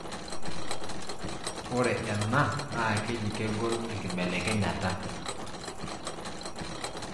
Ore ena na keji kegol enkibelekenyata.